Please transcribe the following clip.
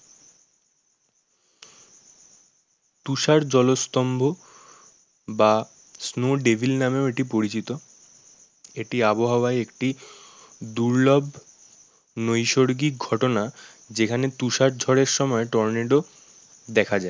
তুষার জলস্তম্ভ বা snow devil নামেও এটি পরিচিত। এটি আবহাওয়ায় একটি দুর্লভ নৈসর্গিক ঘটনা যেখানে তুষার ঝড়ের সময় টর্নেডো দেখা যায়।